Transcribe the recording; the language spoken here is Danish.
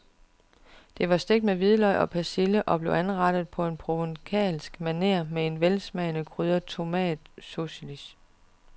De var stegt med hvidløg og persille og blev anrettet på provencalsk maner på en velsmagende krydret tomatcoulis.